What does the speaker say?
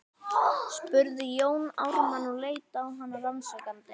spurði Jón Ármann og leit á hana rannsakandi.